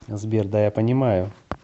сбер да я понимаю